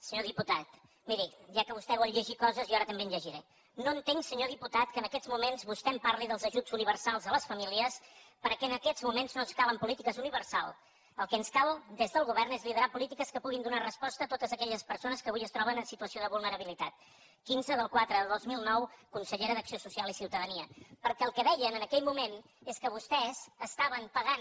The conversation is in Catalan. senyor diputat miri ja que vostè vol llegir coses jo ara també en llegiré no entenc senyor diputat que en aquests moments vostè em parli dels ajuts universals a les famílies perquè en aquests moments no ens calen polítiques universals el que ens cal des del govern és liderar polítiques que puguin donar resposta a totes aquelles persones que avui es troben en situació de vulnerabilitat quinze del iv de dos mil nou consellera d’acció social i ciutadania perquè el que deien en aquell moment és que vostès estaven pagant